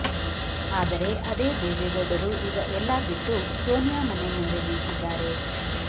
ಆದರೆ ಅದೇ ದೇವೇಗೌಡರು ಈಗ ಎಲ್ಲ ಬಿಟ್ಟು ಸೋನಿಯಾ ಮನೆಮುಂದೆ ನಿಂತಿದ್ದಾರೆ